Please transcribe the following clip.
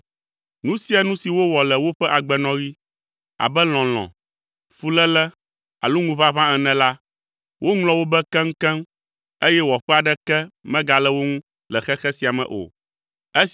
Nu sia nu si wowɔ le woƒe agbenɔɣi, abe lɔlɔ̃, fuléle alo ŋuʋaʋã ene la, woŋlɔ wo be keŋkeŋ eye wɔƒe aɖeke megale wo ŋu le xexe sia me o.